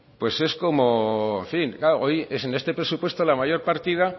pues es como en fin claro hoy en este presupuesto la mayor partida